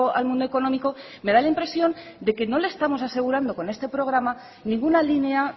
al mundo económico me da la impresión de que no le estamos asegurando con este programa ninguna línea